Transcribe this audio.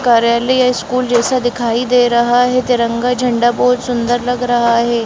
कार्यालय या स्कूल जैसा दिखाई दे रहा है तिरंगा झंडा बहुत सुंदर लग रहा है।